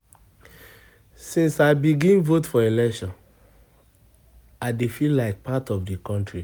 Since I begin vote for election, I dey feel like part of di country. of di country.